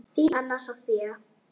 Þín, Anna Soffía.